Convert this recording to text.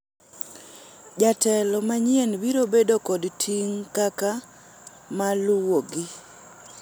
jatelo manyien biro bedo kod ting' kaka maluwogi